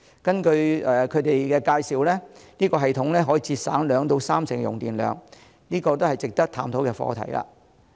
根據介紹，該系統可以節省兩至三成用電量，是值得探討的課題。